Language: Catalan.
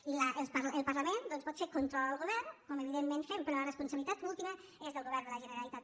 i el parlament pot fer control al govern com evidentment fem però la responsabilitat última és del govern de la generalitat